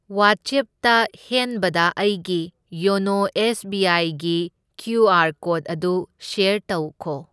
ꯋꯥꯆꯦꯞꯇ ꯍꯦꯟꯕꯗ ꯑꯩꯒꯤ ꯌꯣꯅꯣ ꯑꯦꯁ ꯕꯤ ꯑꯥꯏꯒꯤ ꯀ꯭ꯌꯨ ꯑꯥꯔ ꯀꯣꯗ ꯑꯗꯨ ꯁ꯭ꯌꯔ ꯇꯧꯈꯣ꯫